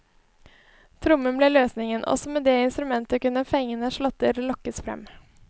Trommen ble løsningen, også med det instrumentet kunne fengende slåtter lokkes frem.